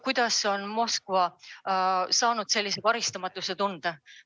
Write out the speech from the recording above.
Kuidas on Moskva saanud sellise karistamatuse tunde?